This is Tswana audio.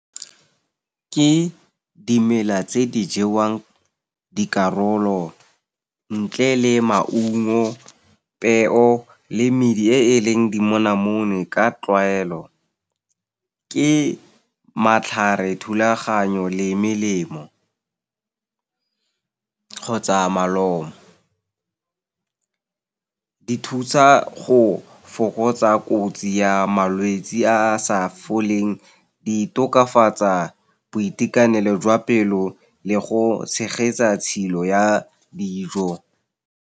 Ke dimela tse di jewang dikarolo, ntle le maungo, peo le medi e e leng dimonamone ka tlwaelo. Ke matlhare, thulaganyo le melemo kgotsa malomo. Di thusa go fokotsa kotsi ya malwetse a sa foleng, di tokafatsa boitekanelo jwa pelo le go tshegetsa tshilo ya dijo.